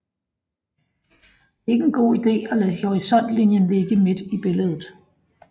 Det er ikke en god ide at lade horisontlinjen ligge midt i billedet